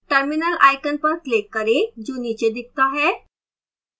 terminal icon पर click करें जो नीचे दिखता है